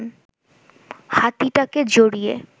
হাতিটাকে জড়িয়ে